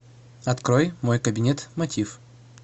открой мой кабинет мотив